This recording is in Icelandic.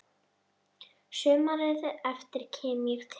Sumarið eftir kem ég til